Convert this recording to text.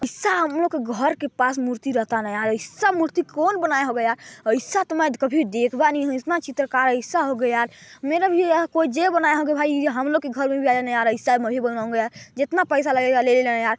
ऐसा हम लोग के घर के पास राहटना या आइसा मूर्ति कौन बनाया होगया यरर आइसा तो मई काभी देखबा नई हु मेरा भी कोई जे बनाया होगा आइसा मई भी बनवाऊँगा यार जितना पैसा लगेगा ले लेना --